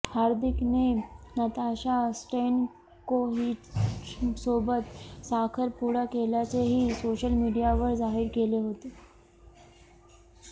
हार्दिकने Natasha स्टॅन्कोव्हिचसोबत साखरपुडा केल्याचेही सोशल मीडियावर जाहीर केले होते